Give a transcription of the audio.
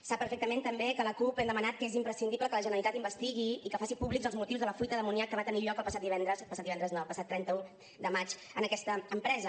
sap perfectament també que la cup hem demanat que és imprescindible que la generalitat investigui i que faci públics els motius de la fuita d’amoníac que va tenir lloc el passat trenta un de maig en aquesta empresa